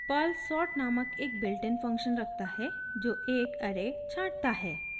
Perl sort नामक एक built in function रखता है जो एक ऐरे छांटता है